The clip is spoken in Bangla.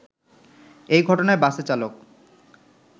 এ ঘটনায় বাসের চালক